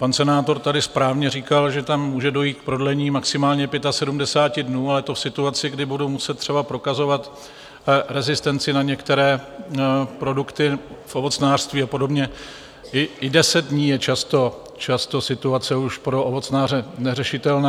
Pan senátor tady správně říkal, že tam může dojít k prodlení maximálně 75 dnů, ale to v situaci, kdy budou muset třeba prokazovat rezistenci na některé produkty v ovocnářství a podobně, i deset dní je často situace už pro ovocnáře neřešitelná.